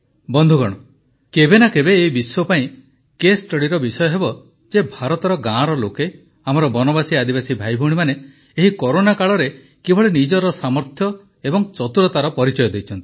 ବନ୍ଧୁଗଣ କେବେ ନା କେବେ ଏଇ ବିଶ୍ୱ ପାଇଁ କେସ୍ ଷ୍ଟଡିର ବିଷୟ ହେବ ଯେ ଭାରତର ଗାଁର ଲୋକେ ଆମର ବନବାସୀଆଦିବାସୀ ଭାଇଭଉଣୀମାନେ ଏହି କରୋନା କାଳରେ କିଭଳି ନିଜ ସାମର୍ଥ୍ୟ ଏବଂ ଚତୁରତାର ପରିଚୟ ଦେଇଛନ୍ତି